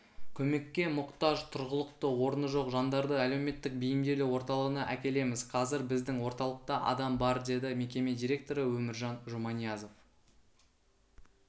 көмекке мұқтаж тұрғылықты орны жоқ жандарды әлеуметтік бейімделу орталығына әкелеміз қазір біздің орталықта адам бар деді мекеме директоры өміржан жұманиязов